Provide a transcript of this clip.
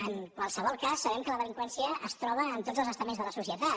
en qualsevol cas sabem que la delinqüència es troba en tots els estaments de la societat